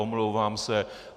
Omlouvám se.